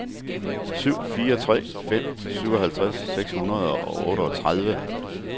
syv fire tre fem syvoghalvtreds seks hundrede og otteogtredive